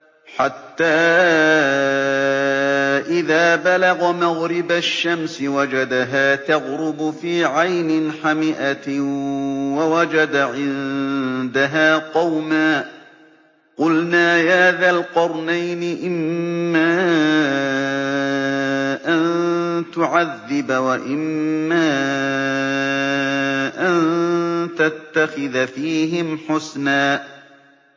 حَتَّىٰ إِذَا بَلَغَ مَغْرِبَ الشَّمْسِ وَجَدَهَا تَغْرُبُ فِي عَيْنٍ حَمِئَةٍ وَوَجَدَ عِندَهَا قَوْمًا ۗ قُلْنَا يَا ذَا الْقَرْنَيْنِ إِمَّا أَن تُعَذِّبَ وَإِمَّا أَن تَتَّخِذَ فِيهِمْ حُسْنًا